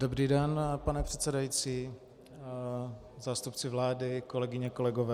Dobrý den, pane předsedající, zástupci vlády, kolegyně, kolegové.